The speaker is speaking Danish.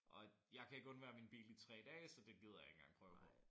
Og jeg kan ikke undvære min bil i 3 dage så det gider jeg ikke engang prøve på